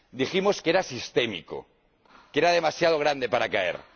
Dijimos que era sistémico, que era demasiado grande para caer.